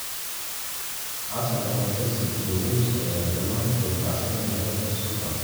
Arsenal, Everton, Chelsea IYO Wolves ayaa dhamaantood baacsanaya garabka Scotland.